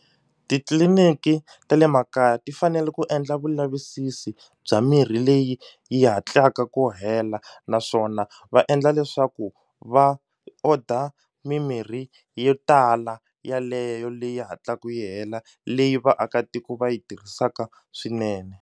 Titliliniki ta le makaya ti fanele ku endla vulavisisi bya mirhi leyi yi hatlaka ku hela naswona va endla leswaku va order mimirhi yo tala yaleyo leyi hatlaku yi hela leyi vaakatiko va yi tirhisaka swinene.